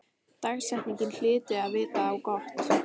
Dagsetningin hlyti að vita á gott.